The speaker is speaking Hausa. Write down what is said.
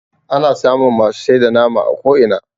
ana samun masu sai da nama a ko'ina